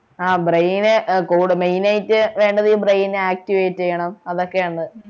ആഹ് brain നു ഏർ കൂടു main ആയിട്ട് വേണ്ടതീ brain activate ചെയ്യണം അതൊക്കെയാണ്